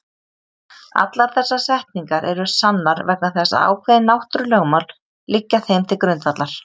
Allar þessar setningar eru sannar vegna þess að ákveðin náttúrulögmál liggja þeim til grundvallar.